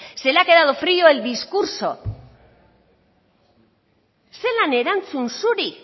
se le ha quedado frio el discurso zelan erantzun zuri